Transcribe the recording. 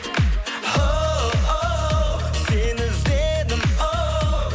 оу сені іздедім оу